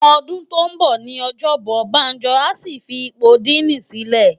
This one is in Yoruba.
Òdún tó n bò ni òjòbòn Banjo á fi ipó dìní silè